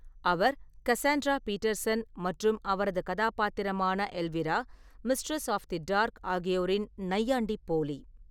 அவர் Cassandra Peterson மற்றும் அவரது கதாபாத்திரமான Elvira, mistress of the dark ஆகியோரின் நையாண்டிப் போலி.